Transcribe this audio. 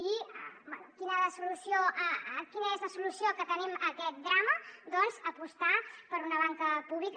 i bé quina és la solució que tenim a aquest drama doncs apostar per una banca pública